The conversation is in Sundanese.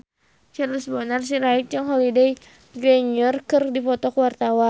Charles Bonar Sirait jeung Holliday Grainger keur dipoto ku wartawan